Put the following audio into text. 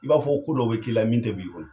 I b'a fɔ ko dɔw bɛ k'i la min tɛ b'i kɔnɔ.